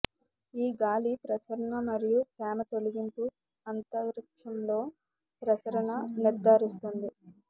ఈ గాలి ప్రసరణ మరియు తేమ తొలగింపు అంతరిక్షంలో ప్రసరణ నిర్ధారిస్తుంది